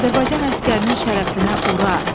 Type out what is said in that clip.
Azərbaycan əsgərinin şərəfinə ura!